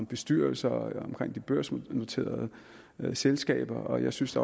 bestyrelser og børsnoterede selskaber og jeg synes